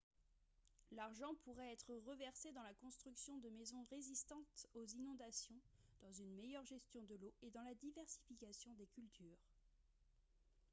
l'argent pourrait être reversé dans la construction de maisons résistantes aux inondations dans une meilleure gestion de l'eau et dans la diversification des cultures